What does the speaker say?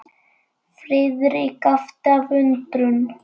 Friðrik gapti af undrun.